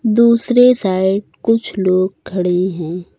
दूसरे साइड कुछ लोग खड़े है।